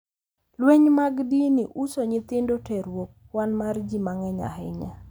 Lweny mag dini, uso nyithindo, terruok, kwan mar ji mang’eny ahinya,